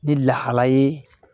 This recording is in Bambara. Ni lahala ye